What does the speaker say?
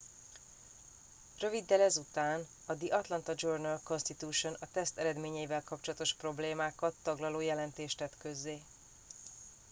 röviddel ezután a the atlanta journal constitution a teszt eredményeivel kapcsolatos problémákat taglaló jelentést tett közzé